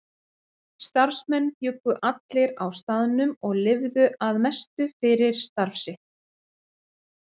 Starfsmenn bjuggu allir á staðnum og lifðu að mestu fyrir starf sitt.